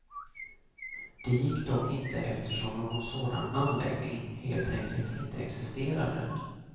Det gick dock inte eftersom någon sådan anläggning helt enkelt inte existerade.